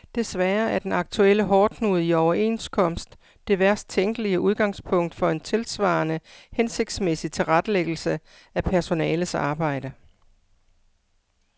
Desværre er den aktuelle hårdknude i overenskomst det værst tænkelige udgangspunkt for en tilsvarende hensigtsmæssig tilrettelæggelse af personalets arbejde.